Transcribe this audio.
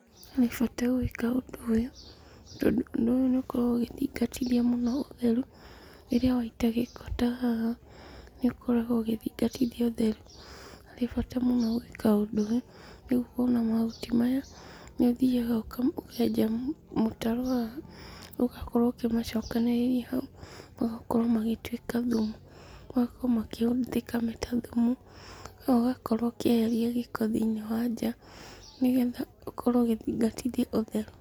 Harĩ bata gũĩka ũndũ ũyũ tondũ ũndũ nĩ ũkoragwo ũgĩthingatithia mũno ũtheru, rĩrĩa waita gĩko ta haha nĩ ũkoragwo ũgĩthingatithia ũtheru. Harĩ bata mũno gũĩka ũndũ ũyũ nĩguo ona mahuti maya nĩ ũthiaga ũkenja mũtaro haha ũgakorwo ũkĩmacokanĩrĩria hau, magakorwo magĩtuĩka thumu, magakorwo makĩhũthĩka ta thumu na ũgakorwo ũkĩeheria gĩko thĩiniĩ wa nja nĩ getha ũkorwo ũgĩthingatithia ũtheru.